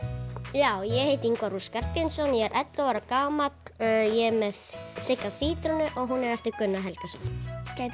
já ég heiti Ingvar ú Skarphéðinsson ég er ellefu ára gamall ég er með Sigga sítrónu og hún er eftir Gunnar Helgason gætiru